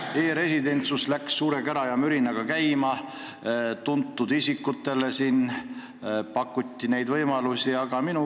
E-residentsus läks suure kära ja mürinaga käima, tuntud isikutele pakuti selleks võimalusi.